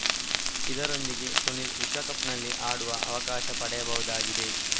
ಇದರೊಂದಿಗೆ ಸುನಿಲ್‌ ವಿಶ್ವಕಪ್‌ನಲ್ಲಿ ಆಡುವ ಅವಕಾಶ ಪಡೆಯಬಹುದಾಗಿದೆ